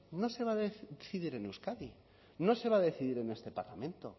no se va a decidir en euskadi no se va decidir en este parlamento